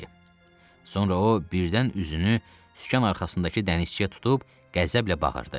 Sonra o birdən üzünü sükan arxasındakı dənizçiyə tutub qəzəblə bağırdı.